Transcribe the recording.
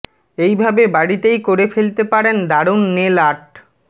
এই ভাবে বাড়িতেই করে ফেলতে পারেন দারুণ নেল আর্ট